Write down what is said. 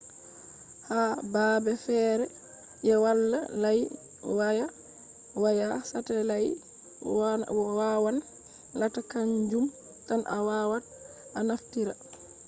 ha baabe feere je wala layi waya waya satelait wawan latta kanjum tan a wawat a naftira